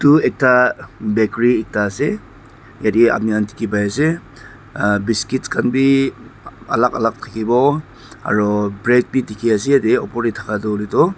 etu ekta bakery ekta ase yate apni khan dikhi pai ase aa biscuits khan be alag alag thaki bo aru bread be dikhi ase yate upar teh thaka tu hoiley tu--